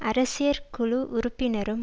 அரசியற்குழு உறுப்பினரும்